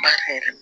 Ba hɛrɛ